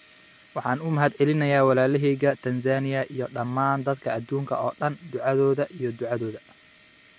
Waxaan u mahadcelinayaa walaalahayga Tansaaniya iyo dhammaan dadka adduunka oo dhan ducadooda iyo ducadooda.